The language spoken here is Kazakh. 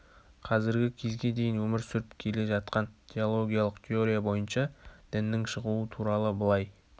қазіргі кезге дейін өмір сүріп келе жаткан теологиялық теория бойынша діннің шығуы туралы былай